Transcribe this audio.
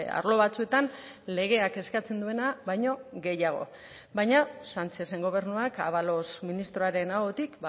arlo batzuetan legeak eskatzen duena baino gehiago baina sánchezen gobernuak ábalos ministroaren ahotik